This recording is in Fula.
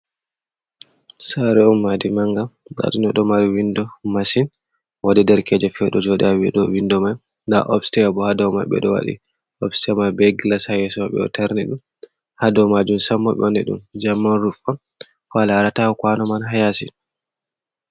Saare on maadi mannga ndaa ɗum ɗo"o ɗo mari winndo masin. Woodi derekeejo feere ɗo jooɗi haa dow windo mai. Nda opsteya boo haa dow may ɓe lo waɗi opsteya mai bee gilas haa yeeso ɓe ɗo tarni ɗum, haa dow maajum samma ɓe wanni ɗum jaman ruf on, a laarata kwano man maa haa yaasi.